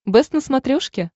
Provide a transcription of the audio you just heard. бэст на смотрешке